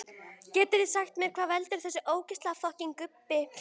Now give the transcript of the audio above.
Getið þið sagt mér allt um gaupur?